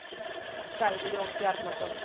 sagði Jón Bjarnason.